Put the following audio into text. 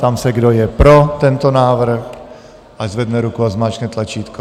Ptám se, kdo je pro tento návrh, ať zvedne ruku a zmáčkne tlačítko.